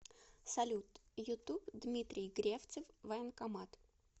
салют ютуб дмитрий гревцев военкомат